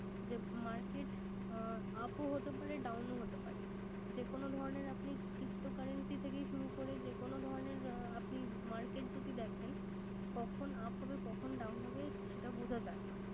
যে market up হতে পারে down ও হতে পারে। যেকোন ধরনের আপনি ptocurrency থেকেই শুরু করে যেকোন ধরণের আহ আপনি market যদি দেখেন কখন up হবে কখন down হবে সেটা বোঝা যায় না